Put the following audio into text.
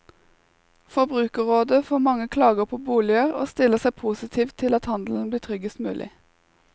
Forbrukerrådet får mange klager på boliger og stiller seg positivt til at handelen blir tryggest mulig.